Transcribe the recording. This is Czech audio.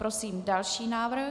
Prosím další návrh.